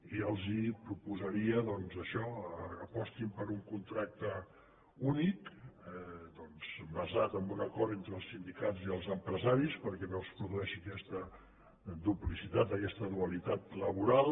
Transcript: i els proposaria doncs això que apostin per un contracte únic basat en un acord entre els sindicats i els empresaris perquè no es produeixi aquesta duplicitat aquesta dualitat laboral